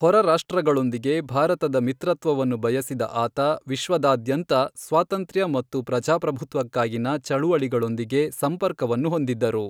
ಹೊರರಾಷ್ಟ್ರಗಳೊಂದಿಗೆ ಭಾರತದ ಮಿತ್ರತ್ವವನ್ನು ಬಯಸಿದ ಆತ, ವಿಶ್ವದಾದ್ಯಂತ ಸ್ವಾತಂತ್ರ್ಯ ಮತ್ತು ಪ್ರಜಾಪ್ರಭುತ್ವಕ್ಕಾಗಿನ ಚಳುವಳಿಗಳೊಂದಿಗೆ ಸಂಪರ್ಕವನ್ನು ಹೊಂದಿದ್ದರು.